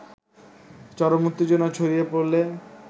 চরম উত্তেজনা ছড়িয়ে পড়লে